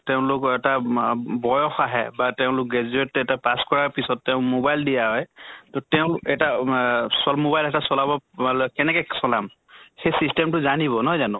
তেওঁলোক এটা মা অম বয়স আহে বা তেওঁলোক graduate এটা pass কৰা পিছত তেওঁ mobile দিয়া হয়, তʼ তেওঁ এটা অহ মা mobile এটা চলাব কেনেকে চলাম? সেই system টো জানিব, নহয় জানো?